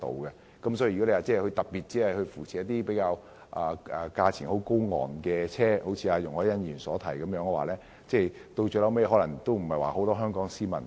如果政府只特別扶持較高昂的車種，結果便會一如容海恩議員所說般，可能沒有很多香港市民使用。